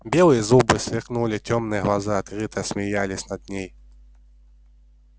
белые зубы сверкнули тёмные глаза открыто смеялись над ней